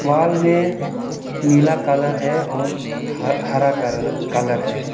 Wall में नीला colour है और ह हरा कर कलर है।